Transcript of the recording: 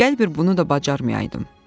Gəl bir bunu da bacarmayaydım.